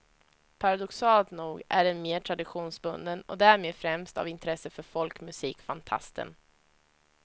Paradoxalt nog är den mer traditionsbunden och därmed främst av intresse för folkmusikfantasten.